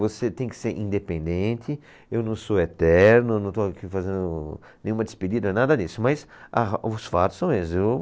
Você tem que ser independente, eu não sou eterno, não estou aqui fazendo nenhuma despedida, nada disso, mas a ro, os fatos são esses.